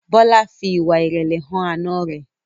Bola fí ìwà irẹlẹ hàn Àna rẹ